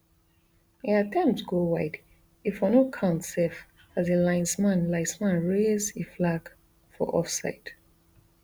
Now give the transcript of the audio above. e attempt go wide e for no count sef as di linesman linesman raise e flag for offside